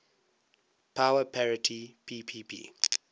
power parity ppp